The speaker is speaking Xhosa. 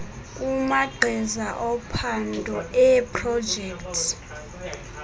kumagqiza ophando eeprojekthi